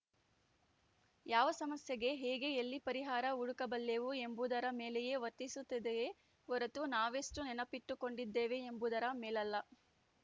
ಯಾವ ಸಮಸ್ಯೆಗೆ ಹೇಗೆ ಎಲ್ಲಿ ಪರಿಹಾರ ಹುಡುಕಬಲ್ಲೆವು ಎಂಬುದರ ಮೇಲೆಯೇ ವರ್ತಿಸುತ್ತದೆಯೇ ಹೊರತು ನಾವೆಷ್ಟುನೆನಪಿಟ್ಟುಕೊಂಡಿದ್ದೇವೆ ಎಂಬುದರ ಮೇಲಲ್ಲ